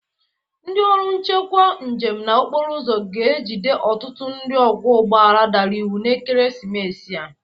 Ndị ọrụ nchekwa ndị njem na okporoụzọ ga-ejide ọtụtụ ndị ọgwọ ụgbọala dara iwu n'ekeresimesi a.